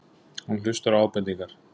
Hann hlustar á ábendingar.